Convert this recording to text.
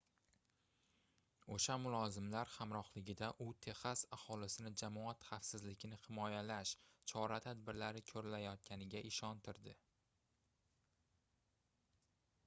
oʻsha mulozimlar hamrohligida u texas aholisini jamoat xavfsizligini himoyalash chora-tadbirlari koʻrilayotganiga ishontirdi